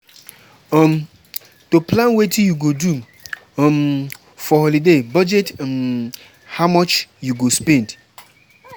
um To plan wetin you go do um for holiday budget um how much you go spend